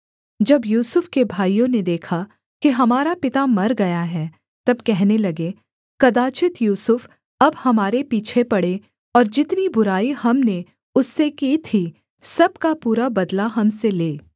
जब यूसुफ के भाइयों ने देखा कि हमारा पिता मर गया है तब कहने लगे कदाचित् यूसुफ अब हमारे पीछे पडे़ और जितनी बुराई हमने उससे की थी सब का पूरा बदला हम से ले